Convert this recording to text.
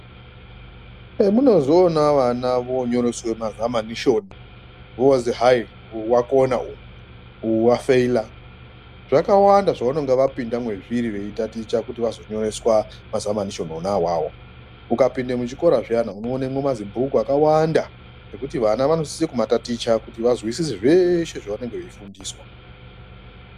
Zvemunozoona vana vonyoreswe mazamanishoni vozi hai uvakona uyu, uyu vafeila. Zvakawanda zvavanonga vapinda mwezviri veitaticha kuti vazonyoreswa mazamanishoni vona ivavo. Ukapinde muchikora zviyana unoonemwo mazibhuku akawanda ekuti vana vanosise kumataticha kuti vazwisise zveshe vavanonga veifundiswa.